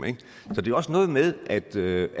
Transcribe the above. så det er også noget med at det